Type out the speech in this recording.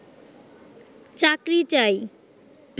চাকরি চাই